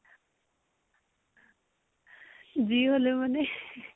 যি হলও মানে?